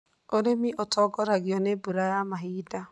Ũrĩmi ũtongoragio nĩ mbura ya mahinda.